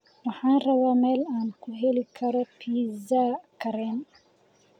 Waxaan rabaa meel aan ku heli karo pizza karen